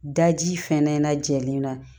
Daji fɛnɛ lajɛlen na